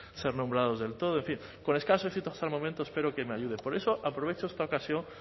ser nombrados del todo en fin con escaso éxito hasta el momento espero que me ayude por eso aprovecho esta ocasión